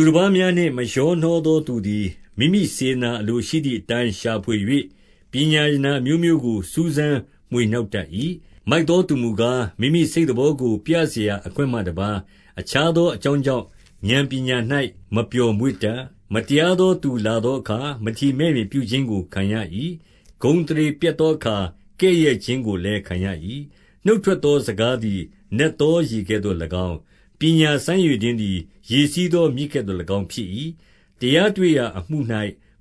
ူတပါးများနှင့် မရောနှောသောသူသည် မိမိ စေတနာ အလိုရှိသည်အတိုင်း ရှာဖွေ၍၊ ပညာရတနာ အမျိုးမျိုးကို စူးစမ်းမွှေနှောက်တတ်၏။ 2 မိုက်သောသူမူကား၊ မိမိစိတ်သဘောကို ပြစရာ အခွင့်မှတပါး၊ အခြားသောအကြောင်းကြောင့် ဥာဏ် ပညာ၌ မပျော်မွေ့တတ်။ 3 မတရားသောသူလာသောအခါ၊ မထီမဲ့မြင်ပြု ခြင်းကို ခံရ၏။ ဂုဏ်အသရေပျက်သောအခါ၊ ကဲ့ရဲ့ခြင်း ကိုလည်း ခံရ၏။ 4 နှုတ်ထွက်သောစကားသည် နက်သောရေကဲ့သို့ ၎င်း၊ ပညာစမ်းရေတွင်းသည် ရေစီးသောမြစ်ကဲ့သို့၎င်း ဖြစ်၏။ 5 တရားတွေ့ရာအမှု၌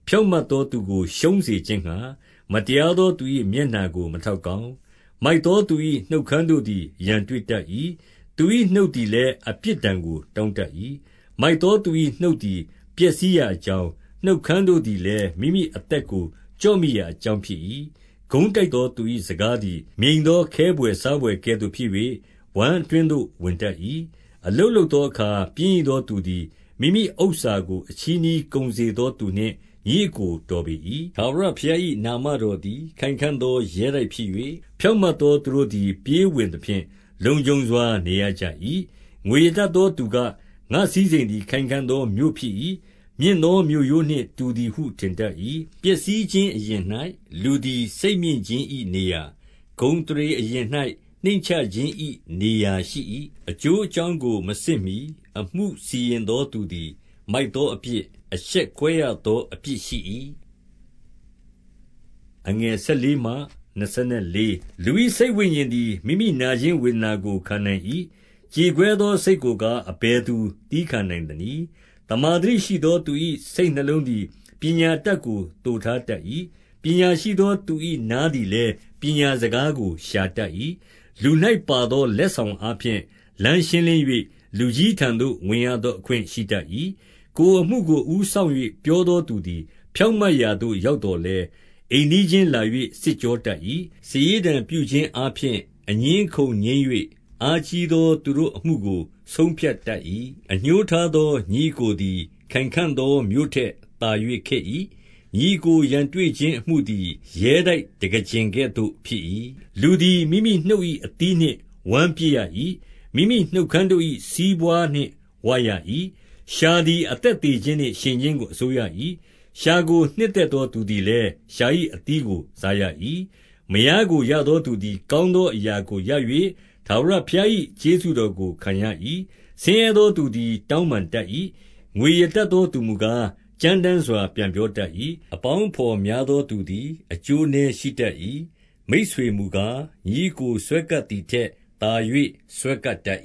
ဖြောင့်မတ်သောသူကို ရှုံးစေခြင်းငှါ၊ မတရားသော သူ၏မျက်နှာကို မထောက် ကောင်း။ 6 မိုက်သောသူ၏နှုတ်ခမ်းတို့သည် ရန်တွေ့ တတ်၏။ သူ၏နှုတ်သည်လည်း အပြစ်ဒဏ်ကို တောင်း တတ်၏။ 7 မိုက်သောသူ၏နှုတ်သည် ပျက်စီးရာအကြောင်း၊ နှုတ်ခမ်းတို့သည်လည်း မိမိအသက်ကို ကျော့မိရာ အကြောင်းဖြစ်၏။ 8 ကုန်းတိုက်သောသူ၏စကားသည် မြိန်သော ခဲဘွယ်စားဘွယ်ကဲ့သို့ဖြစ်၍၊ ဝမ်းအတွင်းသို့ဝင်တတ်၏။ 9 အလုပ်လုပ်သောအခါ ပျင်းရိသောသူသည်၊ မိမိဥစ္စာကို အချည်းနှီးကုန်စေသော သူနှင့်ညီအစ်ကို တော်ပေ၏။ 10 ထာဝရဘုရား၏နာမတော်သည် ခိုင်ခံ့သော ရဲတိုက်ဖြစ်၍၊ ဖြောင့်မတ်သောသူတို့သည် ပြေးဝင်သဖြင့်၊ လုံခြုံစွာနေရကြ၏။ 11 ငွေရတတ်သောသူက၊ ငါ့စည်းစိမ်သည် ခိုင်ခံ့ သောမြို့ဖြစ်၏။ မြင့်သောမြို့ရိုးနှင့်တူသည်ဟု ထင်တတ် ၏။ 12 ပျက်စီးခြင်းအရင်၌လူသည် စိတ်မြင့်ခြင်း၏ နေရာ၊ ဂုဏ်အသရေ အရင်၌နှိမ့်ချခြင်း၏နေရာရှိ၏။ 13 အကျိုးအကြောင်းကို မစစ်မှီ၊ အမှုစီရင်သော သူသည်မိုက်သော အပြစ်၊ အရှက်ကွဲရသောအပြစ်ရှိ၏။ 14 လူ၏စိတ်ဝိညာဉ်သည် မိမိနာခြင်းဝေဒနာကို ခံနိုင်၏။ ကြေကွဲသောစိတ်ကိုကား၊ အဘယ်သူသည်းခံ နိုင်သနည်း။ 15 သမ္မာသတိရှိသောသူ၏ စိတ်နှလုံးသည် ပညာ အတတ်ကို သိုထားတက်၏။ ပညာရှိသော သူ၏နားသည် လည်း၊ ပညာစကားကို ရှာတတ်၏။ 16 လူ၌ပါသော လက်ဆောင်အားဖြင့်၊ လမ်းရှင်း လင်း၍၊ လူကြီးထံသို့ ဝင်ရသောအခွင့်ရှိတတ်၏။ 17 ကိုယ်အမှုကို အဦးစောင့်၍ပြောသောသူသည် ဖြောင့်မတ်ရာသို့ ရောက်သော်လည်း၊ အိမ်နီးချင်းလာ၍ စစ်ကြောတတ်၏။ 18 စာရေးတံပြုခြင်းအားဖြင့် အငြင်းအခုံငြိမ်း၍၊ အားကြီးသော သူတို့အမှုကို ဆုံးဖြတ်တတ်၏။ 19 အငြိုးထားသောညီအစ်ကိုသည် ခိုင်ခံ့သောမြို့ ထက် သာ၍ခက်၏။ ညီအစ်ကို ရန်တွေ့ခြင်းအမှုသည် ရဲတိုက်တံခါးကျင်ကဲ့သို့ ဖြစ်၏။ 20 လူသည်မိမိနှုတ်၏အသီးနှင့်ဝမ်းပြည့်ရ၏။ မိမိနှုတ်ခမ်းတို့၏ စီးပွါးနှင့်ဝရ၏။ 21 လျှာသည်အသက်သေခြင်းနှင့် ရှင်ခြင်းကို အစိုးရ ၏။ လျှာကို နှစ်သက်သောသူသည်လည်း၊ လျှာ၏အသီးကို စားရ၏။ 22 မယားကိုရသောသူသည် ကောင်းသောအရာကို ရ၍၊ ထာဝရဘုရား၏ကျေးဇူးတော်ကို ခံရ၏။ 23 ဆင်းရဲသောသူသည် တောင်းပန်တတ်၏။ ငွေရ တတ်သောသူမူကား၊ ကြမ်းတမ်းစွာ ပြန်ပြောတတ်၏။ 24 အပေါင်းအဘော်များသောသူသည် အကျိုး နည်းရှိတတ်၏။ မိတ်ဆွေမူကား၊ ညီအစ်ကိုစွဲကပ်သည် ထက် သာ၍ စွဲကပ်တတ်